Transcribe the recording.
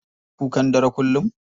Yana kukan dare kullum?